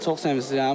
Çox sevincliyəm.